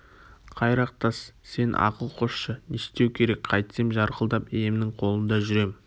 қайрақ тас сен ақыл қосшы не істеу керек қайтсем жарқылдап иемнің қолында жүрем